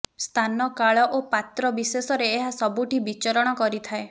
ସ୍ଥାନ କାଳ ଓ ପାତ୍ର ବିଶେଷରେ ଏହା ସବୁଠି ବିଚରଣ କରିଥାଏ